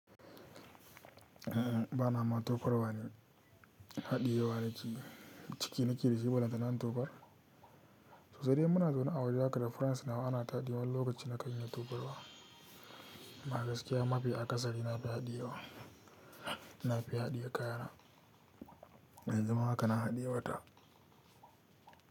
Ba na ma tofarwa ni haɗiye wa nake yi ciki na ke da shi, balle tama in tofar To sai dai in muna zaune a waje haka da friends nawa ana tadewa wani lokaci na kan iya tofarwa. Ma gaskiya, ma fi a ƙasari na fi haɗiye wa. Na fi haɗiye kaya na. Yan zuma haka na haɗiye wa ta.